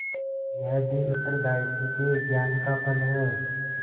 यह भी उत्तरदायित्व के ज्ञान का फल है